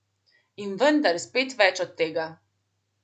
In vendar spet več od tega.